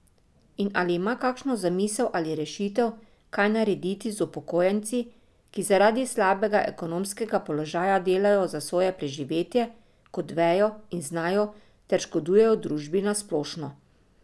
In ali ima kakšno zamisel ali rešitev, kaj narediti z upokojenci, ki zaradi slabega ekonomskega položaja delajo za svoje preživetje kot vejo in znajo ter škodujejo družbi na splošno.